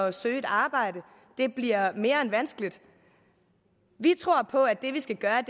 at søge et arbejde bliver mere end vanskeligt vi tror på at det vi skal gøre er